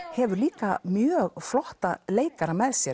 hefur líka mjög flotta leikara með sér